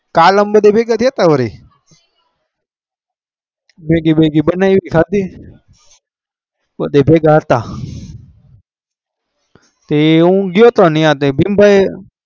કાલ અમે બધા ભેગા થયા તા અમે વાડી મેગી મેગી બના ઈ ખાધી પોચે ભેગા હતા